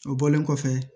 O bɔlen kɔfɛ